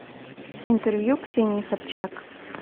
интервью ксении собчак